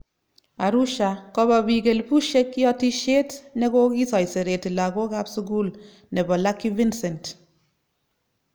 Arusha:Kopa peek elibushek yotishet neko kisoiserete lagok kap sukul nebo Lucky Vincent